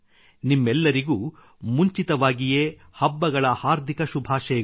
ನಿಮ್ಮೆಲ್ಲರಿಗೂ ಮುಂಚಿತವಾಗಿಯೇ ಹಬ್ಬಗಳ ಹಾರ್ದಿಕ ಶುಭಾಶಯಗಳು